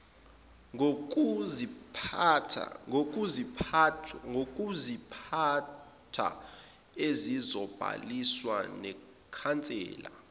ngokuziphatha ezizobhaliswa nekhansela